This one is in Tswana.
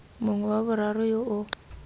mongwe wa boraro yo o